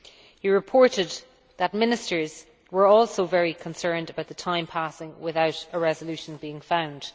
He reported that Ministers were also very concerned about the time passing without a resolution being found.